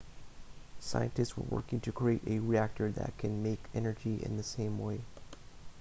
scientists are working to create a reactor that can make energy in the same way